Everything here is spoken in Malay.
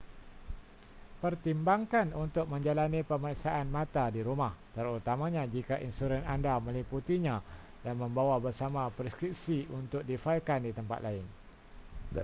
pertimbangkan untuk menjalani pemeriksaan mata di rumah terutamanya jika insurans anda meliputinya dan membawa bersama preskripsi untuk difailkan di tempat lain